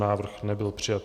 Návrh nebyl přijat.